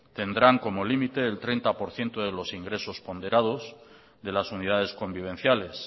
tendrán como límite el treinta por ciento de los ingresos ponderados de las unidades convivenciales